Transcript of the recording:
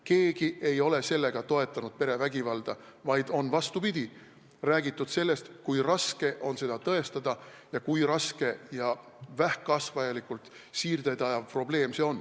Keegi ei ole selle sõnavõtuga toetanud perevägivalda, vaid on, vastupidi, räägitud sellest, kui raske on seda tõestada ning kui raske ja vähkkasvajalikult siirdeid ajav probleem see on.